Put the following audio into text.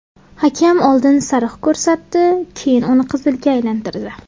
Hakam oldin sariq ko‘rsatdi, keyin uni qizilga aylantirdi.